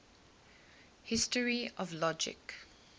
history of logic